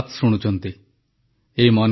• Covid ଯୋଦ୍ଧାଙ୍କୁ ପ୍ରଧାନମନ୍ତ୍ରୀଙ୍କ ପ୍ରଶଂସା